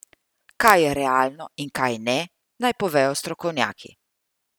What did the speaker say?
Kaj je realno in kaj ne, naj povejo strokovnjaki.